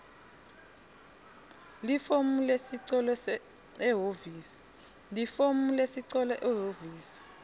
lifomu lesicelo ehhovisi